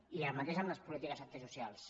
i el mateix amb les polítiques antisocials